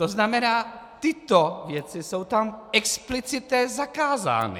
To znamená, tyto věci jsou tam explicitně zakázány.